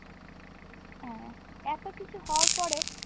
হ্যাঁ এত কিছু হওয়ার পরেও